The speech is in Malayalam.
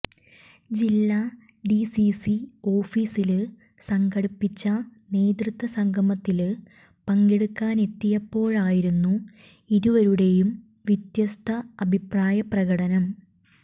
ജില്ലാ ഡിസിസി ഓഫീസില് സംഘടിപ്പിച്ച നേതൃത്വസംഗമത്തില് പങ്കെടുക്കാനെത്തിയപ്പോഴായിരുന്നു ഇരുവരുടെയും വ്യത്യസ്ത അഭിപ്രായ പ്രകടനം